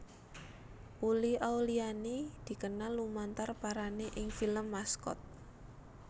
Uli Auliani dikenal lumantar perané ing film Maskot